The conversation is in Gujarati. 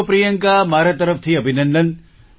ચાલો પ્રિયંકા મારા તરફથી અભિનંદન